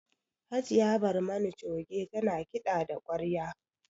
Hajiya Barmani Coge ta na kiɗa da ƙwarya